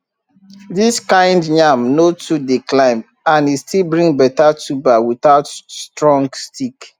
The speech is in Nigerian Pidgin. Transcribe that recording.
this kind yam no too dey climb and e still bring better tuber without strong stick